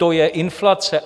To je inflace.